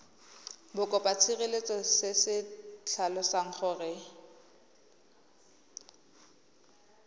bokopatshireletso se se tlhalosang gore